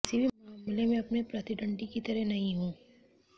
किसी भी मामले में अपने प्रतिद्वंद्वी की तरह नहीं हो